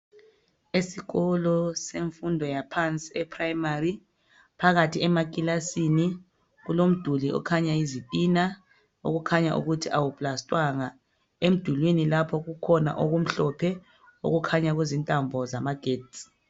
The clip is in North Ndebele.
esikolo semfundo yaphansi e primary phakathi emakilasini kulomduli okhanya izitina okukhanya ukuthi awu plastwanga emdulini lapho kukhona okumhlophe okukhanya ukuthi zintambo zamagetsi